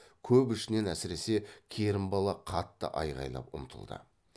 көп ішінен әсіресе керімбала қатты айғайлап ұмтылды